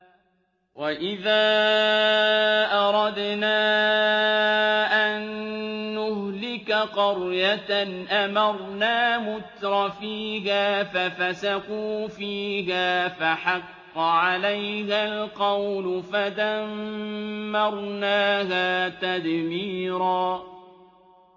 وَإِذَا أَرَدْنَا أَن نُّهْلِكَ قَرْيَةً أَمَرْنَا مُتْرَفِيهَا فَفَسَقُوا فِيهَا فَحَقَّ عَلَيْهَا الْقَوْلُ فَدَمَّرْنَاهَا تَدْمِيرًا